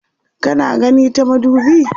kana gani ta madubi?